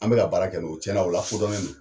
An bɛ ka baara kɛ n'o ye cɛn na o lakodɔnnen do.